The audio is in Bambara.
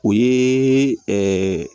O ye